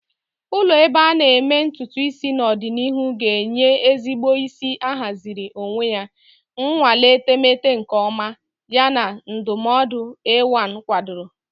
Ụlọ ebe a na-eme ntutu isi n'ọdịnihu ga-enye edozi isi ahaziri onwe ya, nnwale etemeete nke ọma, yana ndụmọdụ AI kwadoro.